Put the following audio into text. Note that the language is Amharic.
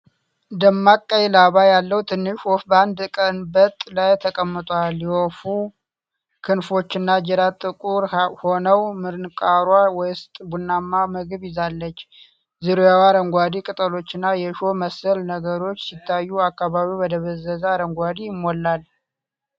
ደማቅ ቀይ ላባ ያለው ትንሽ ወፍ በአንድ ቀንበጥ ላይ ተቀምጧል። የወፏ ክንፎችና ጅራት ጥቁር ሆነው፣ ምንቃሯ ውስጥ ቡናማ ምግብ ይዛለች። ዙሪያዋ አረንጓዴ ቅጠሎችና የእሾህ መሰል ነገሮች ሲታዩ፣ አካባቢው በደበዘዘ አረንጓዴ ይሞላል።